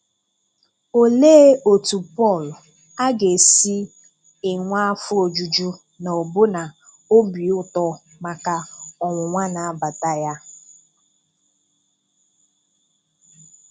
Olee otú Paul um aga esi enwe afọ ojuju na ọbụna obi ụtọ maka Ọnwụnwa na abata um ya?